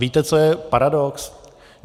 Víte, co je paradox?